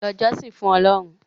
lọ jọ́sìn fún Ọlọ́run!